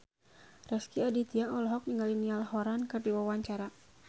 Rezky Aditya olohok ningali Niall Horran keur diwawancara